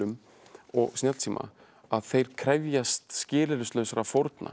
og snjallsíma að þeir krefjast skilyrðislausra fórna